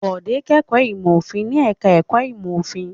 Bọ̀dé kẹ́kọ̀ọ́ ìmọ̀-òfin ní ẹ̀ka-ẹ̀kọ́ ìmọ̀-òfin.